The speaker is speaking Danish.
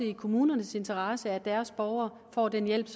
i kommunernes interesse at deres borgere får den hjælp